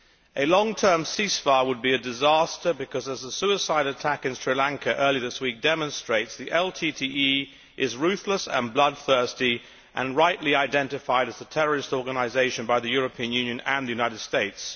A long term ceasefire would be a disaster because as a suicide attack in Sri Lanka earlier this week demonstrates the LTTE is ruthless, bloodthirsty and rightly identified as a terrorist organisation by the European Union and the United States.